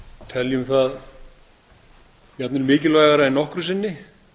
teljum það jafnvel mikilvægara en nokkru sinni